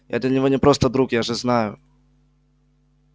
я для него не просто друг я же знаю